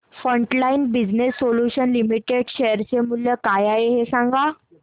frontline Business Solutions Limited share चे मूल्य काय आहे हे सांगा